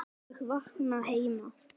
ólög vakna heima.